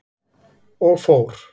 Og fór.